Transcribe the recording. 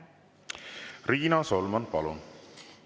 Riina Solman, palun!